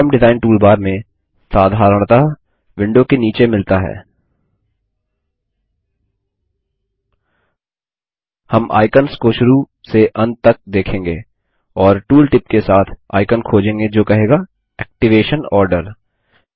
form design toolbar में साधारणतः window के नीचे मिलता हैं हम आइकंस को शुरू से अंत तक देखेंगे और टूलटिप के साथ आइकन खोजेंगे जो कहेगा एक्टिवेशन आर्डर